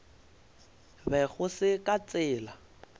be go se ka tsela